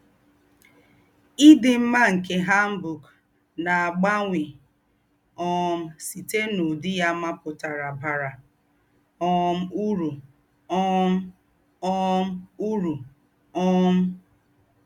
Ídí m̀mà nké hanbok nà-àbáwányé um sítè n’údí yá maputara bárá um úrú um um úrú um